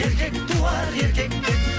еркек туар еркектен